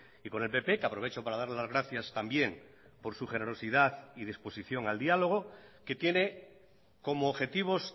y con el pp que aprovecho para dar las gracias también por su generosidad y disposición al diálogo que tiene como objetivos